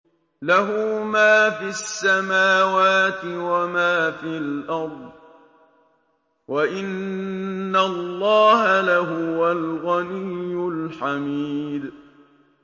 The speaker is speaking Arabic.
لَّهُ مَا فِي السَّمَاوَاتِ وَمَا فِي الْأَرْضِ ۗ وَإِنَّ اللَّهَ لَهُوَ الْغَنِيُّ الْحَمِيدُ